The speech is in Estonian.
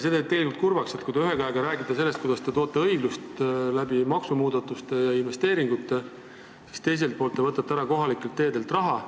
See teeb tegelikult kurvaks, kui te ühelt poolt räägite sellest, kuidas te loote õiglust maksumuudatuste ja investeeringute kaudu, ja teiselt poolt võtate kohalikelt teedelt raha ära.